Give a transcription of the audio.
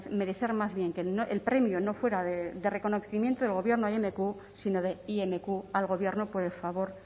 merecer más bien que el premio no fuera de reconocimiento del gobierno a imq sino de imq al gobierno por el favor